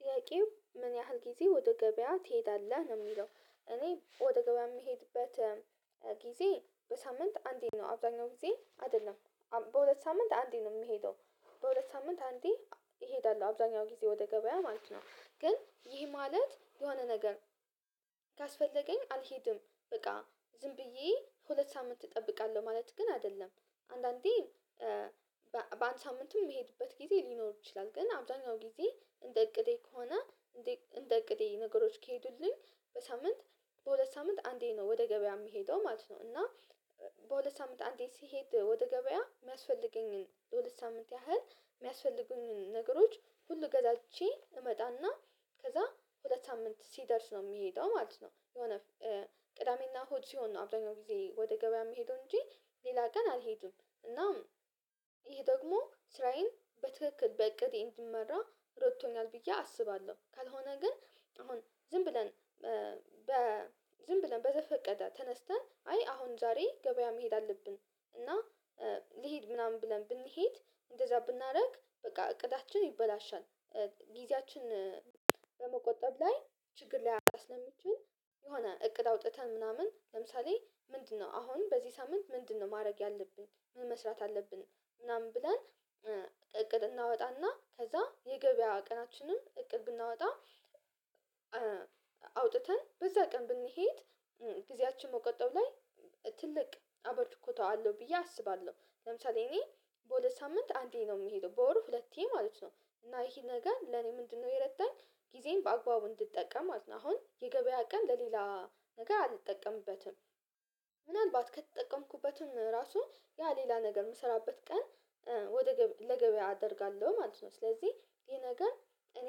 ጥያቄው ምን ያህል ጊዜ ወደ ገበያ ትሄዳለህ ነው የሚለው እኔ ወደ ገበያ የምሄድበት ጊዜ በሳምንት አንዴ ነው አብዛኛው ጊዜ አይደለም በሁለት ሳምንት አንዴ ነው የምሄደው በሁለት ሳምንት አንዴ እሄዳለሁ አብዛኛው ጊዜ ወደ ገበያ ማለት ነው ግን ይህ ማለት የሆነ ነገር ካስፈለገኝ አልሄድም በቃ ዝም ብዬ ሁለት ሳምንት እጠብቃለሁ ማለት ግን አይደለም አንዳንዴ በአንድ ሳምንትም የሚሄድበት ጊዜ ሊኖር ይችላል ግን አብዛኛው ጊዜ እንደ እቅዴ ከሆነ እንደ እቅዴ ነገሮች ከሄዱልኝ በሳምንት በሁለት ሳምንት አንዴ ነው ወደ ገበያ የምሄደው ማለት ነው እና በሁለት ሳምንት አንዴ ሲሄድ ወደ ገበያ የሚያስፈልገኝን ለሁለት ሳምንት ያህል የሚያስፈልጉኝን ነገሮች ሁሉ ገዛዝቼ እመጣና ከዛ ሁለት ሳምንት ሲደርስ ነው የሚሄደው ማለት ነው የሆነ ቅዳሜና እሁድ ሲሆን ነው አብዛኛውን ጊዜ ወደ ገበያ የምሄደው እንጂ ሌላ ቀን አልሄድም እናም ደግሞ ስራዬን በትክክል በእቅዴ እንድመራ ረድቶኛል ብዬ አስባለሁ ካልሆነ ግን አሁን ዝም ብለን በ ዝም ብለን በተፈቀደ ተነስተን አይ አሁን ዛሬ ገበያ መሄድ አለብን እና ልሂድ ምናምን ብለን ብንሄድ እንደዛ ብናደርግ በቃ እቅዳችን ይበላሻል ጊዜያችን በመቆጠብ ላይ ችግር ላይ አስለምችን የሆነ እቅድ አውጥተን ምናምን ለምሳሌ ምንድነው አሁን በዚህ ሳምንት ምንድነው ማድረግ ያለብን ምን መስራት አለብን ምናምን ብለን እቅድ እናወጣና ከዛ የገበያ ቀናችንን እቅድ እናወጣ አውጥተን በዛ ቀን ብንሄድ ጊዜያችን መቆጠብ ላይ ትልቅ አበርክቶት አለው ብዬ አስባለሁ ለምሳሌ እኔ በሁለት ሳምንት አንዴ ነው የምሄደው በወር ሁለቴ ማለት ነው እና ይሄ ነገር ለኔ ምንድነው የረዳኝ ጊዜን በአግባቡ እንድጠቀም አድርጎል አሁን የገበያ ቀን ለሌላ ነገር አልጠቀምበትም ምናልባት ከተጠቀምኩበትም ራሱ ያ ሌላ ነገር የምሰራበት ቀን ወደ ለገበያ አደርጋለሁ ማለት ነው ስለዚህ ይሄ ነገር እኔ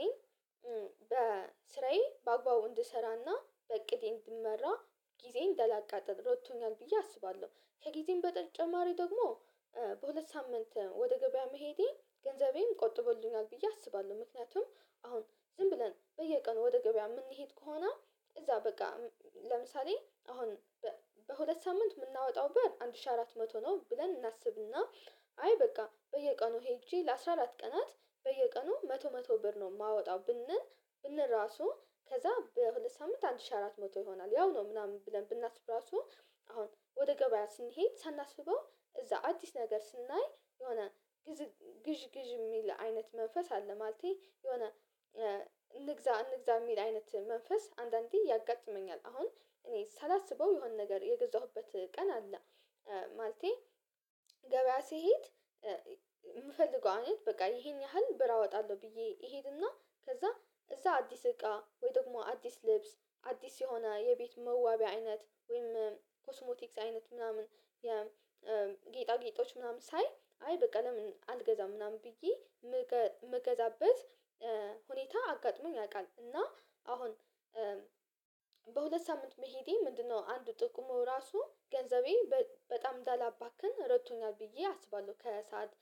ስራዬን በአግባቡ እንድሰራና በእቅዴ እንድመራ ጊዜን እንዳላቃጥል ረድቶኛል ብዬ አስባለሁ ከጊዜም በተጨማሪ ደግሞ በሁለት ሳምንት ወደ ገበያ መሄዴ ገንዘቤን ቆጥቦልኛል ብዬ አስባለሁ ምክንያቱም አሁን ዝም ብለን በየቀኑ ወደ ገበያ የምንሄድ ከሆነ እዛ በቃ ለምሳሌ አሁን በሁለት ሳምንት የምናወጣው ብር አንድ ሺህ አራት መቶ ነው ብለን እናስብና አይ በቃ በየቀኑ ሄጄ ለአስራ አራት ቀናት በየቀኑ መቶ መቶ ብር ነው የማወጣው ብንል ብንል ራሱ ከዛ በሁለት ሳምንት አንድ ሺህ አራት መቶ ይሆናል ያው ነው ምናምን ብለን ብናስብ ራሱ አሁን ወደ ገበያ ስንሄድ ሳናስበው እዛ አዲስ ነገር ስናይ የሆነ ግዥ ግዥ ግዥ የሚል አይነት መንፈስ አለ ማለቴ የሆነ እንግዛ እንግዛ የሚል አይነት መንፈስ አንዳንዴ ያጋጥመኛል፤ አሁን እኔ ሳላስበው የሆነ ነገር የገዛሁበት ቀን አለ። ማለቴ ገበያ ስሄድ የምፈልገው አሁን በቃ ይሄን ያህል ብር አወጣለሁ ብዬ እሄድና ከዛ እዛ አዲስ እቃ ወይ ደግሞ አዲስ ልብስ አዲስ የሆነ የቤት መዋቢያ አይነት ወይም ኮስሞቲክስ አይነት ምናምን የጌጣጌጦች ምናምን ሳይ አይ በቃ ለምን አልገዛም ምናምን ብዬ የምገዛበት ሁኔታ አጋጥሞኝ ያውቃል እና አሁን በሁለት ሳምንት መሄዴ ምንድነው አንዱ ጥቅሙ ራሱ ገንዘቤ በጣም እንዳላባክን ረድቶኛል ብዬ አስባለሁ ከሰአት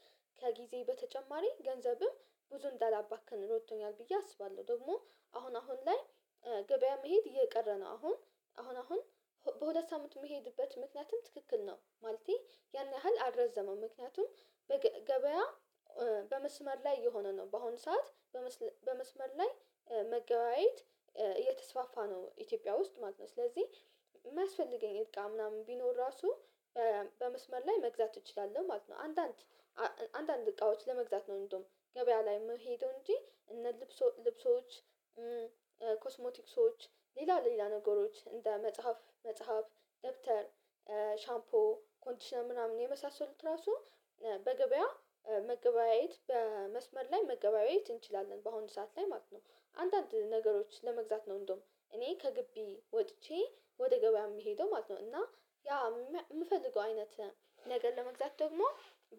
ከጊዜ በተጨማሪ ገንዘብም ብዙ እንዳላባክን ረድቶኛል ብዬ አስባለሁ ደግሞ አሁን አሁን ላይ ገበያ መሄድ እየቀረ ነው አሁን አሁን አሁን በሁለት ሳምንት የምሄድበት ምክንያቱም ትክክል ነው ማለቴ ያን ያህል አልረዘመም ምክንያቱም በገበያ በመስመር ላይ የሆነ ነው በአሁኑ ሰዓት በመስመር ላይ መገበያየት እየተስፋፋ ነው ኢትዮጵያ ውስጥ ማለት ነው ስለዚህ የሚያስፈልገኝ እቃ ምናምን ቢኖር ራሱ በመስመር ላይ መግዛት እንችላለን ማለት ነው አንዳንድ አንዳንድ እቃዎች ለመግዛት ነው እንደውም ገበያ ላይ መሄዱ እንጂ እነ ልብሶ ልብሶች ኮስሞቲክሶች ሌላ ሌላ ነገሮች እንደ መጽሐፍ መጽሐፍ ደብተር ሻምፖ ኮንዲሽን ምናምን የመሳሰሉት ራሱ በገበያ መገበያየት በመስመር ላይ መገበያየት እንችላለን በአሁኑ ሰዓት ላይ ማለት ነው አንዳንድ ነገሮች ለመግዛት ነው እንደውም እኔ ከግቢ ወጥቼ ወደ ገበያ የሚሄደው ማለት ነው እና ያ የምፈልገው አይነት ነገ ለመግዛት ደግሞ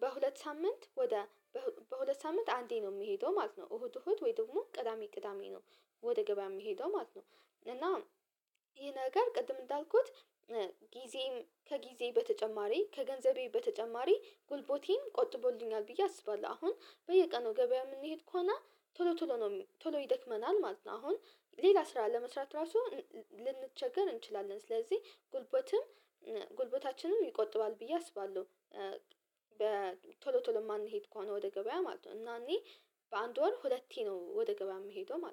በሁለት ሳምንት ወደ በሁለት ሳምንት አንዴ ነው የምሄደው ማለት ነው እሁድ እሁድ ወይ ደግሞ ቅዳሜ ቅዳሜ ነው ወደ ገበያ የምሄደው ማለት ነው እና ይሄ ነገር ቅድም እንዳልኩት ጊዜም ከጊዜ በተጨማሪ ከገንዘቤ በተጨማሪ ጉልቦቴን ቆጥቦልኛል ብዬ አስባለሁ አሁን በየቀኑ ገበያ የምንሄድ ከሆነ ቶሎ ቶሎ ቶሎ ይደክመናል ማለት ነው አሁን ሌላ ስራ ለመስራት ራሱ ልንቸገር እንችላለን፤ ስለዚህ ጉልበትም ጉልበታችንም ይቆጥባል ብዬ አስባለሁ። በ ቶሎ ቶሎ የማንሄድ ከሆነ ወደ ገበያ ማለት ነው እና እኔ በአንድ ወር ሁለቴ ነው ወደ ገበያ የምሄደው ማለት ነው